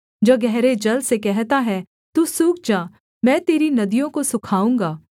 जो गहरे जल से कहता है तू सूख जा मैं तेरी नदियों को सूखाऊँगा